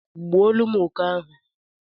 gbuolum oke ahu